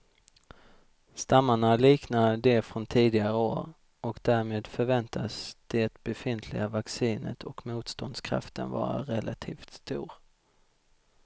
Stammarna liknar de från tidigare år och därmed förväntas det befintliga vaccinet och motståndskraften vara relativt stor.